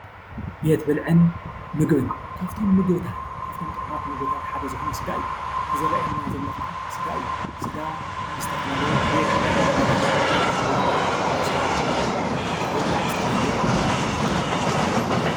ቤት ብልዕን ምግብን ካብቶም ጠዕሙ ምግብታት እዚ ዘሪኤና ዘሎ ከዓ ስጋ እዩ። ስጋ ዝተፈላለዩ ጉዕ፣ ኮሚደረ፣ ሸጉርትን ተሰሩሑ ንክብላዕ ዝተዳለወ እዩ።